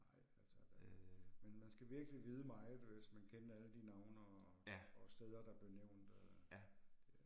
Nej altså. Men man skal virkelig vide meget hvis man kendte alle de navne og og steder der blev nævnt øh